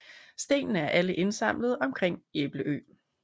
Stenene er alle indsamlet omkring Æbelø